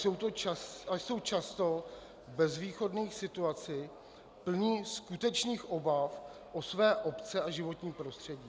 Jsou často v bezvýchodné situaci, plni skutečných obav o své obce a životní prostředí.